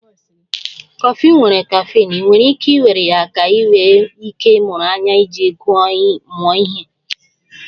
Kọfị nwere caffeine, ị nwere ike iwere ya ka ị nwee ike ịmụrụ anya iji mụọ ihe